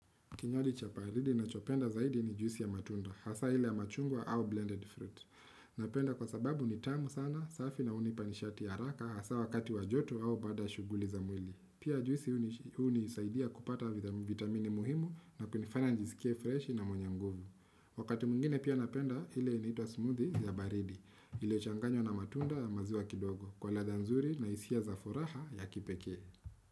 Kinywaji cha baridi nachopenda zaidi ni juisi ya matunda, hasa ile ya machungwa au blended fruit. Napenda kwa sababu ni tamu sana, safi na hunipa nishati haraka hasa wakati wa joto au baada ya shughuli za mwili. Pia juisi hunisaidia kupata vitamini muhimu na kunifanya njisikie freshi na mwenye nguvu. Wakati mwingine pia napenda ile inatwa smoothie ya baridi. Iliyochanganywa na matunda ya maziwa kidogo. Kwa ladha nzuri na hisia za furaha ya kipekee.